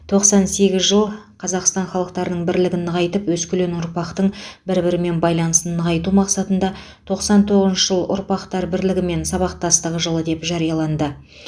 тоқсан сегіз жыл қазақстан халықтарының бірлігін нығайтып өскелең ұрпақтың бір бірімен байланысын нығайту мақсатында тоқсан тоғызыншы жыл ұрпақтар бірлігі мен сабақтастығы жылы деп жарияланды